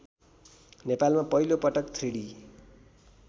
नेपालमा पहिलोपटक थ्रीडी